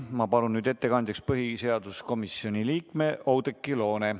Ma palun nüüd ettekandjaks põhiseaduskomisjoni liikme Oudekki Loone.